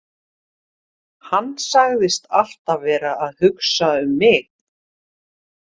Hann sagðist alltaf vera að hugsa um mig.